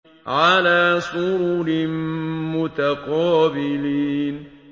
عَلَىٰ سُرُرٍ مُّتَقَابِلِينَ